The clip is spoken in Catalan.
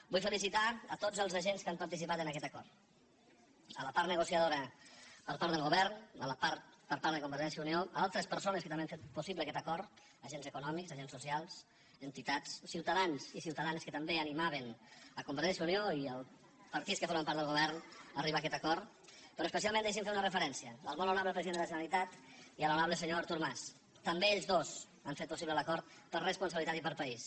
vull felicitar a tots els agents que han participat en aquest acord a la part negociadora per part del govern a la part per part de convergència i unió a altres persones que també han fet possible aquest acord agents econòmics agents socials entitats ciutadans i ciutadanes que també animaven convergència i unió i els partits que formen part del govern a arribar a aquest acord però especialment deixi’m fer una referència al molt honorable president de la generalitat i a l’honorable senyor artur mas també ells dos han fet possible l’acord per responsabilitat i per país